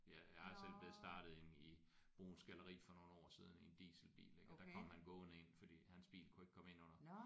Jeg jeg har selv blevet startet inde i Bruuns Galleri for nogle år siden i en dieselbil iggå der kom han gående ind fordi hans bil kunne ikke komme ind under